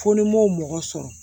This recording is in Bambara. Fo ni n m'o mɔgɔ sɔrɔ